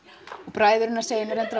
bræður hennar segja reyndar